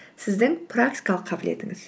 сіздің практикалық қабілетіңіз